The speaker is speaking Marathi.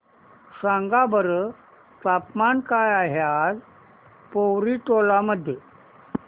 सांगा बरं तापमान काय आहे आज पोवरी टोला मध्ये